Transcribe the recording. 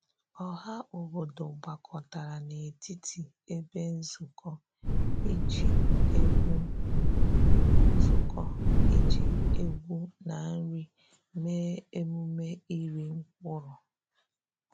Ọha obodo gbakọtara n’etiti ebe nzukọ iji egwu nzukọ iji egwu na nri mee emume iri mkpụrụ.